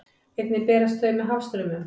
Einnig berast þau með hafstraumum.